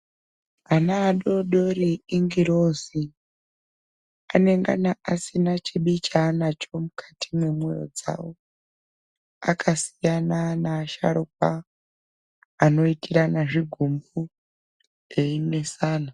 Ana adodori ingirozi, anongana asina chibi chaanacho mukati mwemwoyo dzawo, akasiyana neasharuka anoitirana zvigumbu einesana.